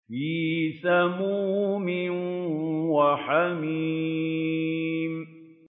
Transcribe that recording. فِي سَمُومٍ وَحَمِيمٍ